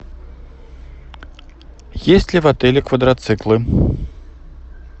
есть ли в отеле квадроциклы